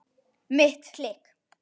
Mitt klikk?